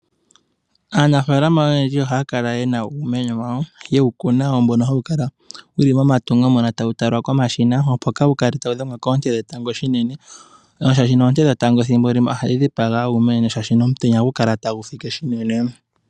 Aanafaalama oyendji ohaya kala ye na uumeno wawo yewu kuna . Mbono hawu kala wu li momatungo tawu talwa komashina opo kaawu kale tawu dhengwa koonte dhetango shinene. Shaashi oonte dhetango thimbo limwe . Ohadhi dhipaga uumeno shaashi omutenya ohagu kala tagu fike unene.